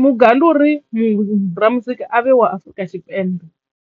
muga ndi uri muthu ra muzika a vhe wa Afrika Tshipembe.